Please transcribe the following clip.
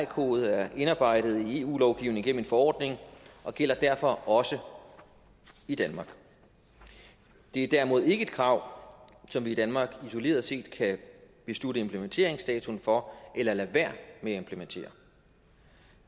kode er indarbejdet i eu lovgivningen forordning og gælder derfor også i danmark det er derimod ikke et krav som vi i danmark isoleret set kan beslutte implementeringsdatoen for eller lade være med at implementere